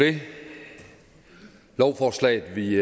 det lovforslaget vi